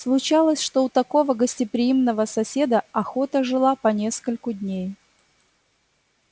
случалось что у такого гостеприимного соседа охота жила по нескольку дней